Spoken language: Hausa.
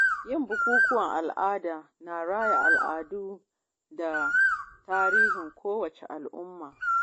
Yin bukukuwan al’ada na raya al’adu da tarihin kowace al'umma.